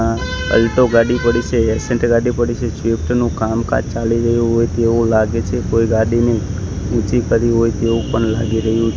આ અલ્ટો ગાડી પડી છે એસેન્ટ ગાડી પડી છે સ્વિફ્ટ નુ કામકાજ ચાલી રહ્યુ હોય તેવુ લાગે છે કોઈ ગાડીને ઊંચી કરી હોય એવુ પણ લાગી રહ્યું.